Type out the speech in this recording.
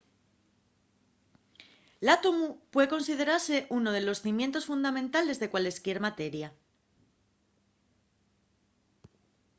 l’átomu puede considerase unu de los cimientos fundamentales de cualesquier materia